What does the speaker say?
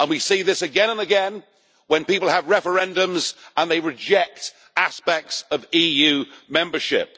We see this again and again when people have referendums and they reject aspects of EU membership.